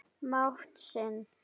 mátt sinn.